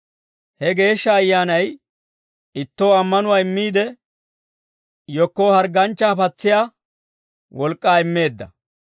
He Geeshsha Ayyaanay ittoo ammanuwaa immiide, yekkoo hargganchchaa patsiyaa wolk'k'aa immeedda.